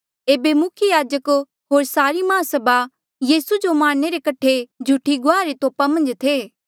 एेबे मुख्य याजक होर सारी माहसभा यीसू जो मारणे रे कठे झूठी गुआहा रे तोप्हा मन्झ थे